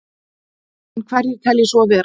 En hverjir telji svo vera?